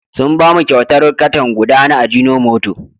Sun ba mu kyautar katan guda na ajinomoto.